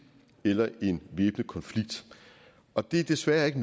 eller en væbnet konflikt og det er desværre ikke